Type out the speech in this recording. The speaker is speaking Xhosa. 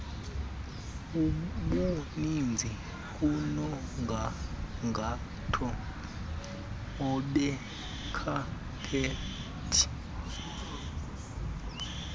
obuninzi kunomgangatho onekhaphethi